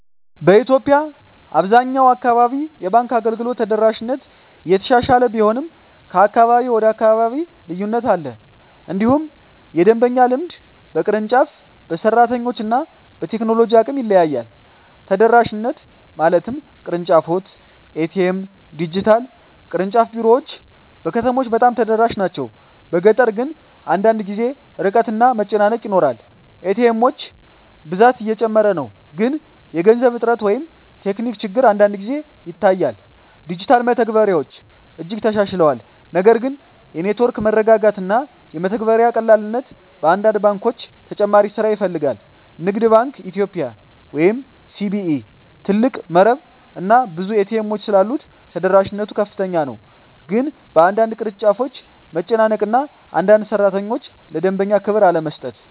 በኢትዮጵያ አብዛኛው አካባቢ የባንክ አገልግሎት ተደራሽነት እየተሻሻለ ቢሆንም ከአካባቢ ወደ አካባቢ ልዩነት አለ። እንዲሁም የደንበኛ ልምድ በቅርንጫፍ፣ በሰራተኞች እና በቴክኖሎጂ አቅም ይለያያል። ተደራሽነት (ቅርንጫፎች፣ ኤ.ቲ.ኤም፣ ዲጂታል) ቅርንጫፍ ቢሮዎች በከተሞች በጣም ተደራሽ ናቸው፤ በገጠር ግን አንዳንድ ጊዜ ርቀት እና መጨናነቅ ይኖራል። ኤ.ቲ. ኤሞች ብዛት እየጨመረ ነው፣ ግን የገንዘብ እጥረት ወይም ቴክኒክ ችግር አንዳንድ ጊዜ ይታያል። ዲጂታል መተግበሪያዎች እጅግ ተሻሽለዋል፣ ነገር ግን የኔትወርክ መረጋጋት እና የመተግበሪያ ቀላልነት በአንዳንድ ባንኮች ተጨማሪ ስራ ይፈልጋል። ንግድ ባንክ ኢትዮጵያ (CBE) ትልቅ መረብ እና ብዙ ኤ.ቲ. ኤሞች ስላሉት ተደራሽነት ከፍተኛ ነው፤ ግን በአንዳንድ ቅርንጫፎች መጨናነቅ እና አንዳንድ ሠራተኞች ለደንበኛ ክብር አለመስጠት